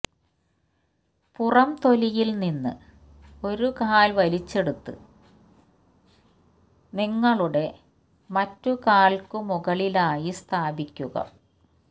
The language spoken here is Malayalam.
പുറംതൊലിയിൽ നിന്ന് ഒരു കാൽ വലിച്ചെടുത്ത് നിങ്ങളുടെ മറ്റ് കാൽക്കു മുകളിലായി സ്ഥാപിക്കുക